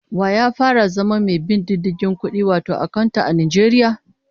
Wa ya fara zama mai bin diddigin kudi wato akanta, a Najeriya?